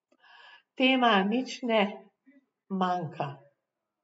Tema nič ne manjka.